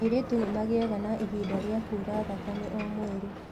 Airĩtu nĩ magĩaga na ihinda rĩa kuura thakame o mweri.